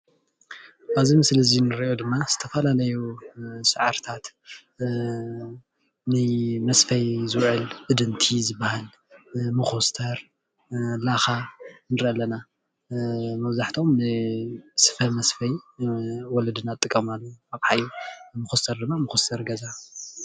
አብዚ ምስሊ እዚ እንሪኦ ድማ ዝተፈላለዩ ሳዕርታት ንመስፈይ ዝውዕል እድንቲ ዝባሃል ፣መኮስተር፣ ላካ ንርኢ ኣለና ፡፡ መብዛሕትኦም ንስፈ መስፈይ ወለድና ዝጥቀማሉ ኣቅሓ እዩ፡፡ መኮስተር ድማ መኮስተሪ ገዛ